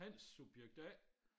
Hans subjekt A